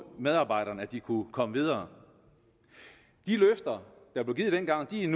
medarbejderne at de kunne komme videre de løfter der blev givet dengang er